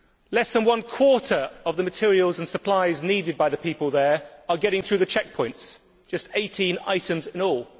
Less than one quarter of the materials and supplies needed by the people there are getting through the checkpoints just 18 items in all.